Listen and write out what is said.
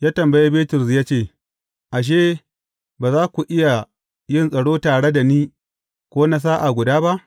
Ya tambayi Bitrus ya ce, Ashe, ba za ku iya yin tsaro tare da ni ko na sa’a guda ba?